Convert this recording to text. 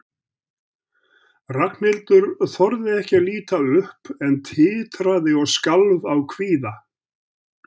Ragnhildur þorði ekki að líta upp en titraði og skalf af kvíða.